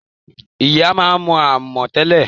Ìyá máa ń mo amò tẹ́lẹ̀